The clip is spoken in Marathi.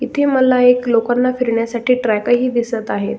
इथे मला एक लोकांना फिरण्यासाठी ट्रॅक ही दिसत आहे.